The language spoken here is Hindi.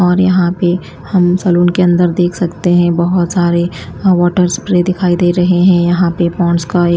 और यहां पे हम सैलून के अंदर देख सकते हैं बहोत सारे अह वाटर स्प्रे दिखाई दे रहे हैं यहां पे पौंड्स् का ए --